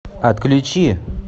отключи